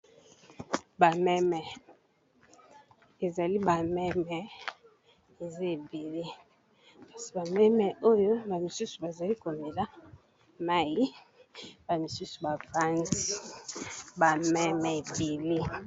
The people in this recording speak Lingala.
Ba meme, ezali ba meme eza ébélé, kasi ba meme oyo ba misusu ba zali ko mela mayi, ba misusu ba vandi. Ba meme ébélé .